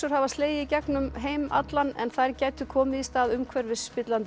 hafa slegið í gegn um heim allan en þær gætu komið í stað umhverfisspillandi